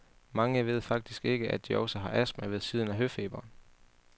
Mange ved faktisk ikke, at de også har astma ved siden af høfeberen.